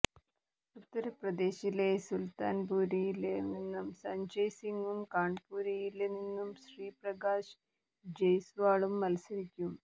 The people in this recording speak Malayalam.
ഉത്തര്പ്രദേശിലെ സുല്ത്താന്പുരില് നിന്ന് സഞ്ജയ് സിങും കാണ്പുരില് നിന്ന് ശ്രീപ്രകാശ് ജയ്സ്വാളും മത്സരിക്കും